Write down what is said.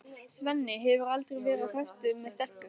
Svenni hefur aldrei verið á föstu með stelpu.